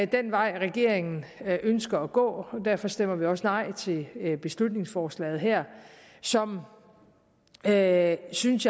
den vej regeringen ønsker at gå og derfor stemmer vi også nej til beslutningsforslaget her som jeg synes